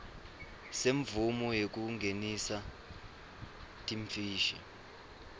semvumo yekungenisa timfishi